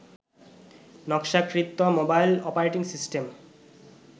নকশাকৃত mobile operating system